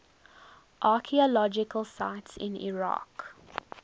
archaeological sites in iraq